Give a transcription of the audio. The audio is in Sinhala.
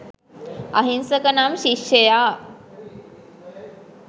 අහිංසක නම් ශිෂ්‍යයා